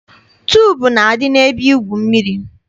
Tuubu na-adị n'ebe igwu mmiri.